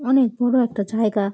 অনেক বড়ো একটা জায়গা ।